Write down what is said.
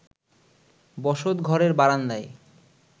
বসত ঘরের বারান্দায়